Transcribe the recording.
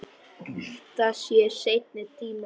Það sé seinni tíma verk.